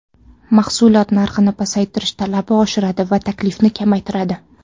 Mahsulot narxini pasaytirish talabni oshiradi va taklifni kamaytiradi.